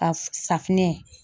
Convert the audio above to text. Ka f[ ?] safinɛ.